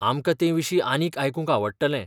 आमकां तेविशीं आनीक आयकूंक आवडटलें.